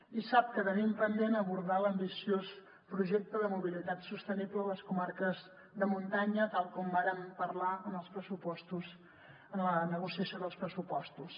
i sap que tenim pendent abordar l’ambiciós projecte de mobilitat sostenible a les comarques de muntanya tal com vàrem parlar en els pressupostos en la negociació dels pressupostos